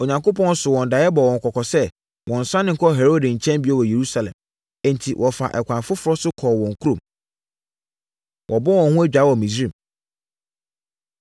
Onyankopɔn soo wɔn daeɛ bɔɔ wɔn kɔkɔ sɛ wɔnnsane nkɔ Herode nkyɛn bio wɔ Yerusalem. Enti wɔfaa ɛkwan foforɔ so kɔɔ wɔn kurom. Wɔbɔ Wɔn Ho Adwaa Wɔ Misraim